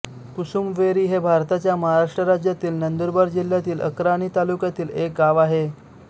कुसुमवेरी हे भारताच्या महाराष्ट्र राज्यातील नंदुरबार जिल्ह्यातील अक्राणी तालुक्यातील एक गाव आहे